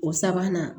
O sabanan